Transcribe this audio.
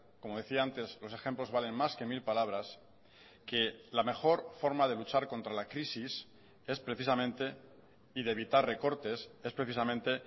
como decía antes los ejemplos valen más que mil palabras que la mejor forma de luchar contra la crisis es precisamente y de evitar recortes es precisamente